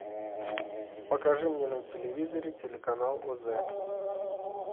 покажи мне на телевизоре телеканал оз